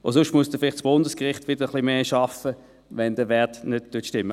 Sonst muss halt dann das Bundesgericht mehr arbeiten, sollte der Wert nicht stimmen.